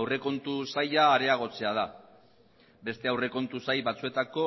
aurrekontu saila areagotzea da beste aurrekontu sail batzuetako